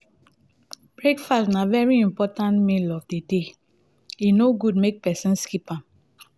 breakfast na very important meal of di day e no good make persin skip am